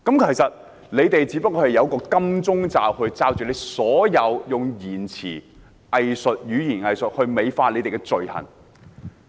其實，他們只是用"金鐘罩"來掩飾、用語言"偽術"來美化自己的罪行。